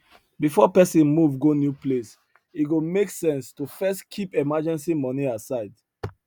before person move go new place e go make sense to first keep emergency money aside